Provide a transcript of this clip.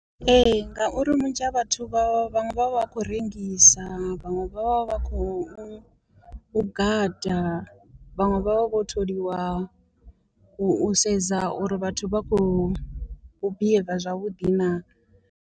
Ee ngauri vhunzhi ha vhathu vha vha vhaṅwe vha vha khou rengisa, vhaṅwe vha vha vha khou gada, vhaṅwe vha vha vho tholiwa u sedza uri vhathu vha khou behave zwavhuḓi naa.